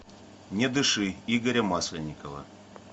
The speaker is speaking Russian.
не дыши игоря масленникова